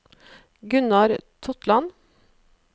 Gunnar Totland